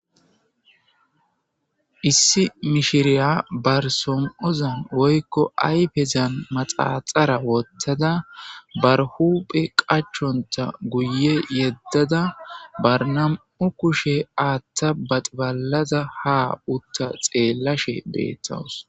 Issi mishiriya barsom7ozan woykko ayfezan maxaaxara wottada barhuphe qachonta guye yeddada barnam7u kushe aatta baxbalada ha utta xeellashe beettawus.